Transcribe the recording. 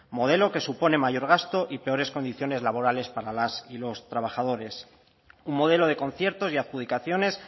modelo que supone mayor gasto y peores condiciones laborales para las y los trabajadores un modelo de conciertos y adjudicaciones